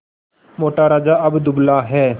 मोटा राजा अब दुबला है